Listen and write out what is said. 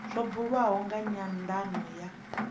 zwa buliwa nga nyandano ya